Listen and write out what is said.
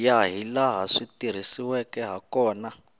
ya hilaha swi tirhisiweke hakona